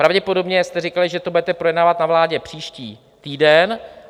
Pravděpodobně jste říkali, že to budete projednávat na vládě příští týden.